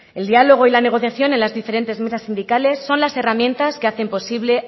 el diálogo y la negociación en las diferentes mesas sindicales son las herramientas que hacen posible